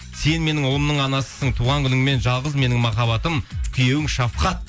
сен менің ұлымның анасысың туған күніңмен жалғыз менің махаббатым күйеуің шафхат